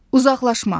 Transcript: Uzaqlaşma.